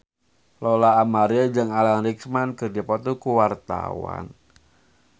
Lola Amaria jeung Alan Rickman keur dipoto ku wartawan